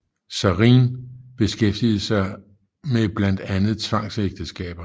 Sareen beskæftigede sig med blandt andet tvangsægteskaber